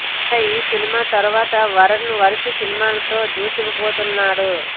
ఇక ఈ సినిమా తర్వాత వరుణ్ వరుస సినిమాలతో దూసుకుపోతున్నాడు